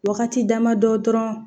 Wagati damadɔ dɔrɔn